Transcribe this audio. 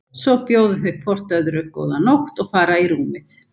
Svo bjóða þau hvort öðru góða nótt og fara í rúmið.